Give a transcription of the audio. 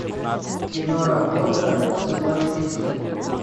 киноработа соблазнитель